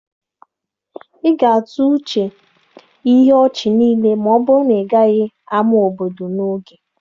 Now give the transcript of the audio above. Ị ga-atụ uche ihe ọchị niile ma ọ bụrụ na ịgaghị ámá obodo n'oge.